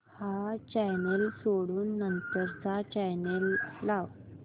हा चॅनल सोडून नंतर चा चॅनल लाव